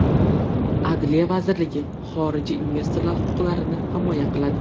Adliya vazirligi xorijiy investorlar huquqlarini himoya qiladi.